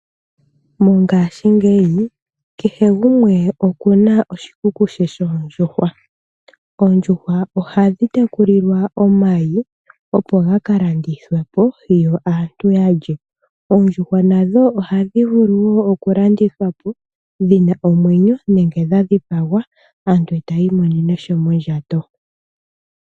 Mongaashingeyi kehe gumwe okuna oshikuku she shoondjuhwa. Oondjuhwa ohadhi tekulilwa omayi, opo gaka landithwepo yo aantu yadje. Oondjuhwa nadho oha dhi vulu wo oku landithwa po dhina omwenyo nenge dha dhipagwa aantu etayi imonene sha mondjato.